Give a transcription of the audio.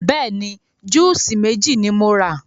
Bẹ́ẹ̀ni, júùsí méjì ni mo rà.